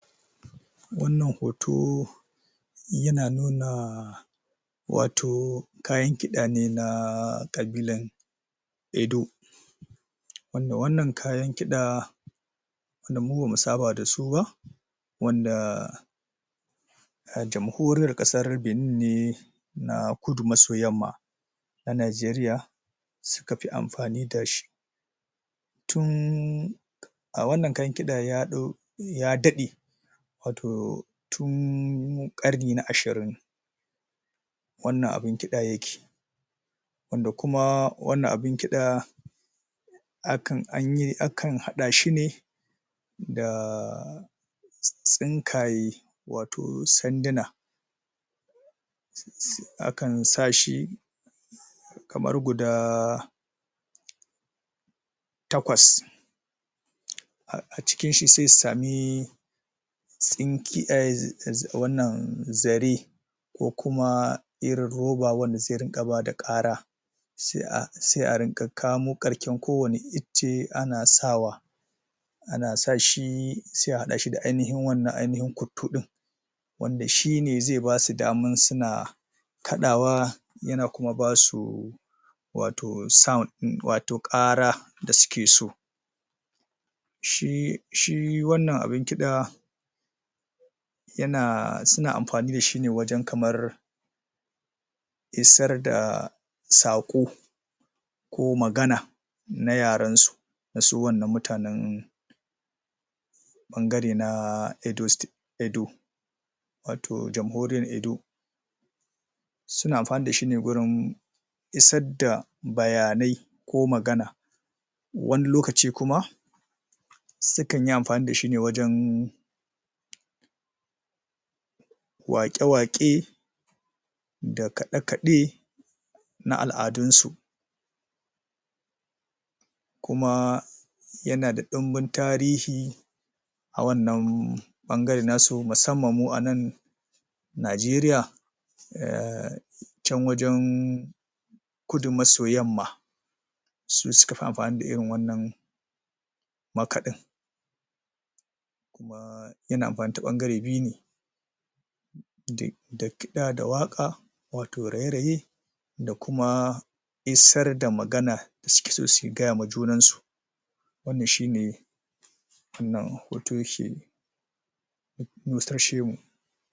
Wannan hoto ya na nuna wato kayan kidda ne na qabilan Edo wanda wannan kayan kidda wanda mu ba mu saba da su ba wanda um jama'u wurin qasar Benin ne na kudu maso yamma a Nijeria su ka fi amfani da shi tun a wannan kayan kidda ya dau ya dadde wato tun karni na ashirin wannan abun kidda ya ke wanda kuma wannan abun kidda a kan, anyi, a kan hada shi ne da tsunkaye wato sanduna a kan sa shi kamar guda takwas um a cikin shi zai sami um um wannan zare ko kuma irin roba wanda zai ruka bada kara sai a, sai a ruka kamo karkin kowane ice ana sawa ana sa shi sai a hada shi da ai'nihin wannan ai'nihin kuku dun wanda shi ne zai ba su daman su na kadda wa ya na kuma ba su wato sound, wato kara da suke so shi shi wannan abun kidda ya na, suna amfani da shi ne wajen kamar isar da sako ko magana na yaran su na su wannan mutanen bangari na Edo state Edo wato jambodin Edo su na amfani da shi ne gurin isa da bayanai ko magana wani lokaci kuma su kan yi amfani da shi ne wajen waqe waqe da kadda kadde na al'adun su kuma ya na da dumbun tarihi a wannan bangari na su, masamman mu a nan Nijeria um can wajen kudu maso yamma su, su ka fi amfani da irin wannan ma kaddin kuma ya na amfani ta bangari biyu ne um da kidda da waqa wato rayeraye da kuma isar da magana da suke so su gaya ma junan su wannan shi ne wannan hoto ya ke nusarshe mu